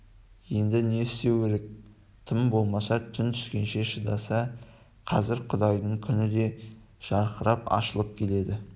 енді не істеу керек тым болмаса түн түскенше шыдаса қазір құдайдың күні де жарқырап ашылып кетті